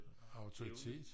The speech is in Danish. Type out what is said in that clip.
Autoritet